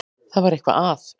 Það var eitthvað að.